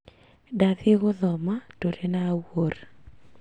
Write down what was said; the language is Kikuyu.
Ndathiĩ gũthoma tũrĩ na Awuor